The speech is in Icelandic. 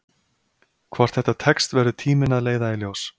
Hvort þetta tekst verður tíminn að leiða í ljós.